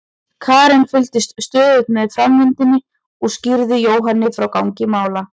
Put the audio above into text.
Karen fylgdist stöðugt með framvindunni og skýrði Jóhanni frá gangi mála.